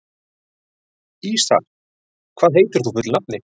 Ísarr, hvað heitir þú fullu nafni?